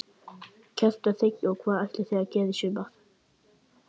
Kjartan Hreinn: Og hvað ætlið þið að gera í sumar?